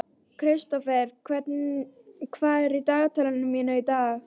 Kristófer, hvað er í dagatalinu mínu í dag?